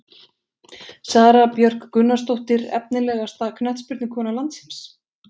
Sara Björk Gunnarsdóttir Efnilegasta knattspyrnukona landsins?